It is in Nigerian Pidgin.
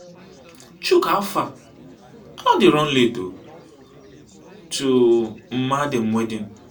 chuka howfar i don dey run late oo to mma dem wedding.